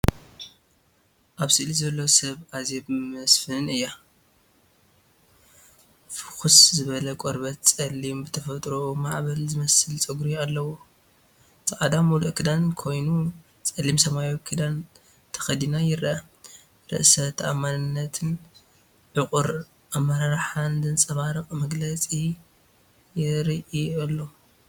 ኣብ ስእሊ ዘሎ ሰብ ኣዜብ መስፍን እያ። ፍኹስ ዝበለ ቆርበት፡ ጸሊም፡ ብተፈጥሮኡ ማዕበል ዝመስል ጸጉሪ ኣለዎ። ጻዕዳ መሉእ ክዳን ኮይኑ፡ ጸሊም ሰማያዊ ክዳን ተኸዲና ይረአ። ርእሰ ተኣማንነትን ዕቑር ኣመራርሓን ዘንጸባርቕ መግለጺ ይርኢ ኣሎ።